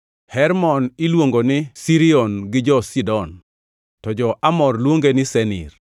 (Hermon iluongo ni Sirion gi jo-Sidon, to jo-Amor luonge ni Senir).